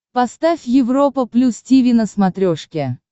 поставь европа плюс тиви на смотрешке